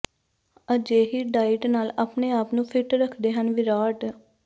ਅਜਿਹੀ ਡਾਇਟ ਨਾਲ ਆਪਣੇ ਆਪ ਨੂੰ ਫਿੱਟ ਰੱਖਦੇ ਹਨ ਵਿਰਾਟ